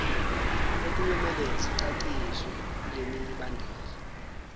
okuyomele zicaciswe kulemibandela